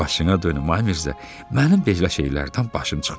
Başına dönüm, ay Mirzə, mənim belə şeylərdən başım çıxmaz.